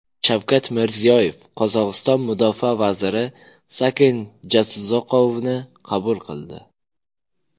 Shavkat Mirziyoyev Qozog‘iston mudofaa vaziri Saken Jasuzaqovni qabul qildi.